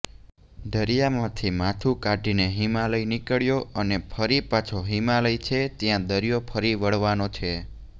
દરિયામાંથી માથું કાઢીને હિમાલય નિકળ્યો અને ફરી પાછો હિમાલય છે ત્યાં દરિયો ફરી વળવાનો છે